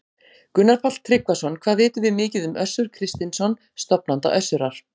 Gunnar Páll Tryggvason: Hvað vitum við mikið um Össur Kristinsson, stofnanda Össurar?